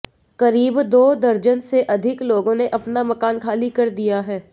करीब दो दर्जन से अधिक लोगों ने अपना मकान खाली कर दिया है